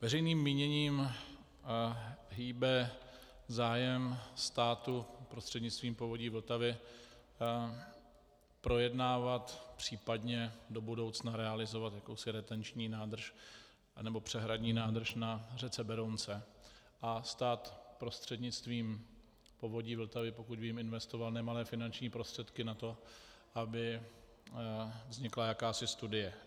Veřejným míněním hýbe zájem státu prostřednictvím Povodí Vltavy projednávat, případně do budoucna realizovat jakousi retenční nádrž, anebo přehradní nádrž na řece Berounce a stát prostřednictvím Povodí Vltavy, pokud vím, investoval nemalé finanční prostředky na to, aby vznikla jakási studie.